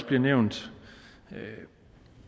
blevet nævnt er det